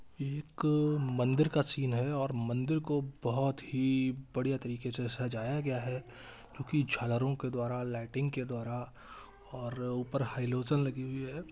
एक मंदिर का सीन है और मंदिर को बहुत ही बढ़िया तरीके से सजाया गया है क्योंकि झालरों के द्वारा लाइटिंग के द्वारा और ऊपर हाई लोजन लगी हुई है।